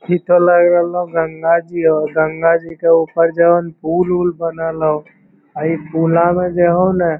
इ तो लग रहलो गंगा जी होअ गंगा जी के ऊपर जोन ह पुल उल बनएल हो इ पुला में जो होअ ना --